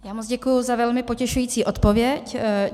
Já moc děkuji za velmi potěšující odpověď.